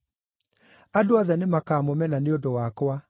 Andũ othe nĩmakamũmena nĩ ũndũ wakwa.